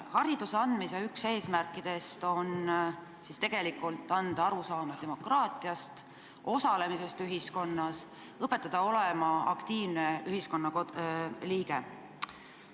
Hariduse andmise üks eesmärk on anda arusaam demokraatiast, osalemisest ühiskonnas, õpetada olema aktiivne ühiskonnaliige.